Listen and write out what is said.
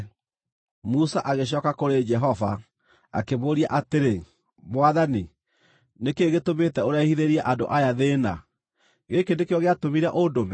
Musa agĩcooka kũrĩ, Jehova akĩmũũria atĩrĩ, “Mwathani, nĩ kĩĩ gĩtũmĩte ũrehithĩrie andũ aya thĩĩna? Gĩkĩ nĩkĩo gĩatũmire ũndũme?